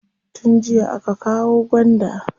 Tun jiya aka kawo gwanda.